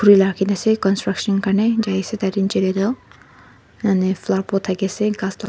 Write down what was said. khori laga rakhi kina ase countruction kane jaise tar che kane tu kane flower pot thaki se gass tu--